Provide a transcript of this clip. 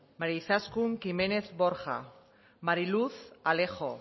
maria izaskun kimenez borja mariluz alejo